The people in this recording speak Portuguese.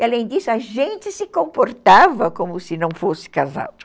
E além disso, a gente se comportava como se não fosse casado.